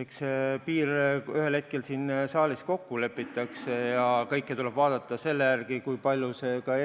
Eks see piir ühel hetkel siin saalis kokku lepitakse ja kõike tuleb vaadata selle järgi, kui palju see ka